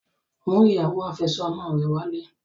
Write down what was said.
Mú ìyàwó àfẹ́sọ́nà rẹ wálé!